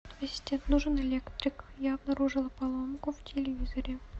ассистент нужен электрик я обнаружила поломку в телевизоре